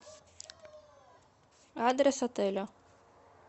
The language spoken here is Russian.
адрес отеля